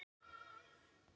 Hún ræður engu.